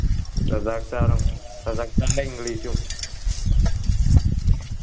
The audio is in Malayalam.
റസാഖ് sir ഉം റസാഖ് sir ൻ്റെ english ഉം